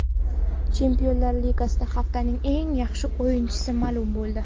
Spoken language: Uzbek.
Chempionlar Ligasida haftaning eng yaxshi o‘yinchisi ma’lum bo‘ldi.